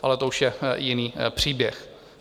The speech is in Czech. Ale to už je jiný příběh.